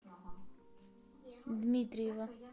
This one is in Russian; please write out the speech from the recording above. дмитриева